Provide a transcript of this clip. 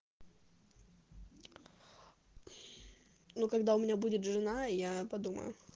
ну когда у меня будет жена я подумаю